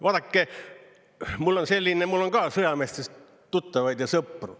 Vaadake, mul on ka sõjameestest tuttavaid ja sõpru.